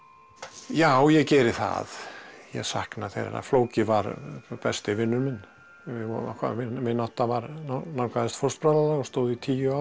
já ég geri það ég sakna þeirra flóki var besti vinur minn okkar vinátta nálgaðist fóstbræðralag og stóð í tíu ár